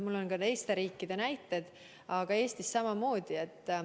Mul on ka teiste riikide näiteid, aga Eestis on samamoodi.